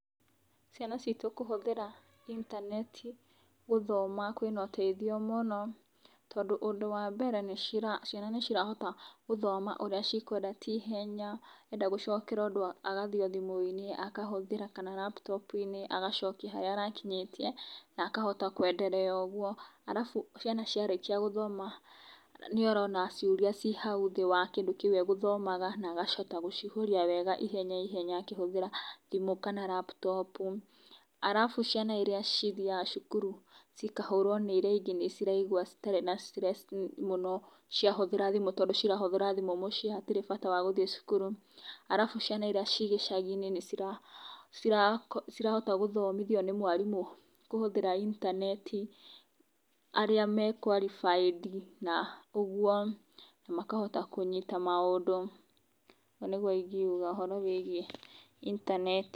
Ciana citũ kũhũthĩra intaneti gũthoma kũrĩ na ũteithio mũno, tondũ ũndũ wa mbere, ciana nĩ cirahota gũthoma ũrĩa cikwenda na ihenya, enda gũcokera ũndũ agathiĩ thimũiinĩ akahũthĩra kana laptop acoka harĩa arakinyĩtie na akahota gũthiĩ na mbere ũguo. Ciana ciarĩkia gũthoma nĩ urona ciũria cĩtĩ hau thĩ wa kĩndũ kĩu agũthomaga na agacoka gũcihuria wega ihenya ihenya, akĩhũthĩra thimũ kana laptop. Arabu ciana iria cithiaga cukuru cikahũrũo nĩ iria ingĩ nĩciraigua citarĩ na stress ciahũthĩra thimu tondũ cirahũthĩra thimũ mũciĩ koguo hatirĩ bata wa gũthiĩ cukuru. Ciana iria cirĩ gicagi-inĩ nĩ cirahota gũthomithio nĩ mwarimũ, kũhũthĩra intaneti arĩa mahĩtũkĩte ũguũ, makahota kũnyita maũndũ. Ũguo nĩguo ingiuga ũhoro wĩgiĩ intaneti.